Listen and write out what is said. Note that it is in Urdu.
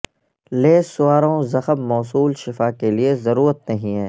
لیس سواروں زخم موصول شفا کے لئے ضرورت نہیں ہے